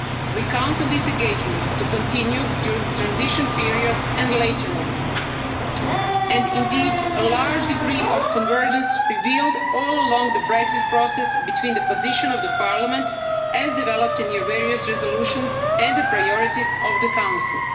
We count on this engagement to continue during the transition period and later on and indeed, a large degree of convergence was revealed during the Brexit process between the position of Parliament as developed in your various resolutions and the priorities of the Council.